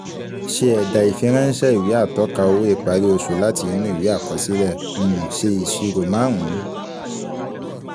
Se ẹ̀dà ìfiránsẹ́ ìwé atọ́ka owó ìparí oṣù láti inú ìwé àkọsílẹ̀. um Ṣe ìṣirò márùn-ún.